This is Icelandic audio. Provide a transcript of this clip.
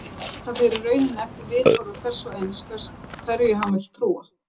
Það fer í rauninni eftir viðhorfi hvers og eins hverju hann vill trúa.